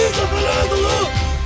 Tarixa, fəthələrə doğru!